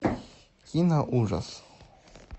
киноужас